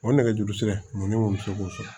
O nɛgɛjurusira ninnu bi se k'o sɔrɔ